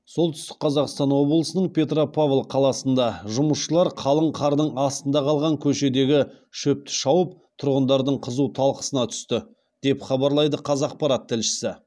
солтүстік қазақстан облысының петропавл қаласында жұмысшылар қалың қардың астында қалған көшедегі шөпті шауып тұрғындардың қызу талқысына түсті деп хабарлайды қазақпарат тілшісі